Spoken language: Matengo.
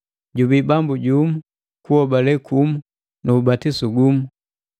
Jubii Bambu jumu, kuhobale kumu nu ubatisu gumu,